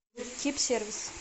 кип сервис